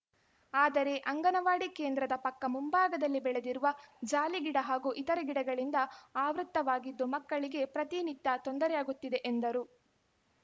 ಆದರೆ ಅಂಗನವಾಡಿ ಕೇಂದ್ರದ ಪಕ್ಕ ಮುಂಭಾಗದಲ್ಲಿ ಬೆಳೆದಿರುವ ಜಾಲಿ ಗಿಡ ಹಾಗೂ ಇತರೆ ಗಿಡಗಳಿಂದ ಆವೃತ್ತವಾಗಿದ್ದು ಮಕ್ಕಳಿಗೆ ಪ್ರತಿನಿತ್ಯ ತೊಂದರೆಯಾಗುತ್ತಿದೆ ಎಂದರು